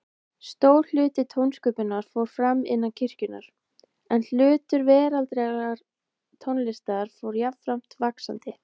Stór hluti tónsköpunar fór fram innan kirkjunnar, en hlutur veraldlegrar tónlistar fór jafnframt vaxandi.